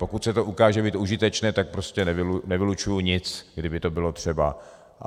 Pokud se to ukáže být užitečné, tak prostě nevylučuju nic, kdyby to bylo třeba.